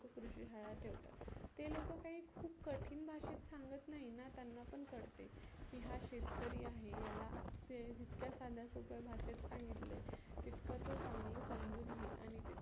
कृषी शाळा ठेवतात. ते लोक काही खुप कठीन भाषेत सांगत नाही ना त्यांना पण कळते की हा शेतकरी आहे याला ते जितक्या साध्या सोप्या भाषेत सांगितले तीतक तो समजुन घईल आणि ते